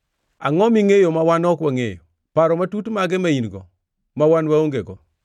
Angʼo mingʼeyo ma wan ok wangʼeyo? Paro matut mage ma in-go, ma wan waongego?